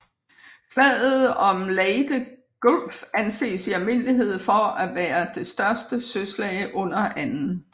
Slaget om Leyte Gulf anses i almindelighed for at være det største søslag under 2